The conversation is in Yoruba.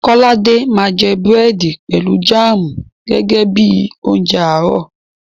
Kọ́ládé máa jẹ búrẹ̀dì pẹ̀lú jáàmù gẹ́gẹ́ bí i oúnjẹ àárọ̀.